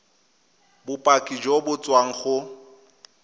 bopaki jo bo tswang go